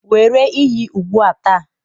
Were iyi ugbu a taa